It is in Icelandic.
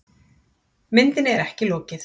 Myndinni er ekki lokið.